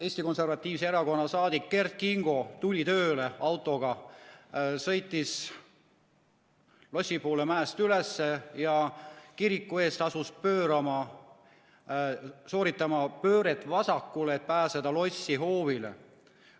Eesti Konservatiivse Rahvaerakonna saadik Kert Kingo tuli tööle autoga, sõitis lossi poole mäest üles ja kiriku ees asus sooritama pööret vasakule, et pääseda lossiplatsile.